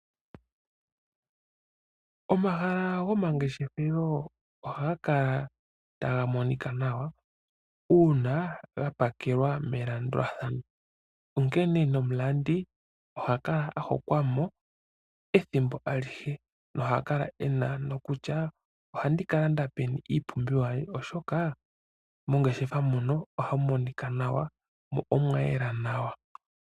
Omahala gomangeshefelo ohaga kala taga monika nawa uuna ga pakelwa melandulathano, onkene nomulandi oha kala a hokwa mo ethimbo alihe noha kala ena ano kutya ohandi ka landa peni iipumbiwa yandje, oshoka mongeshefa muno ohamu monika nawa mo omwayela nawa.